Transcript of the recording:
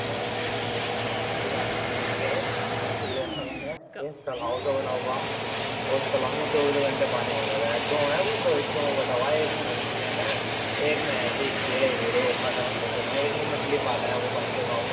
भुआ का गए तो देखा मैंने एक तलावसा बना हुआ और उस तलाव में चौबीस घंटे पानी भरा रहे दो है वो दो हिस्सों में बटा हुआ है एक में मछली है मैं एक में ऐसी कीड़े बीड़े पता नहीं क्या है एक में मछली पाले हैं वो वहीं के गांव में।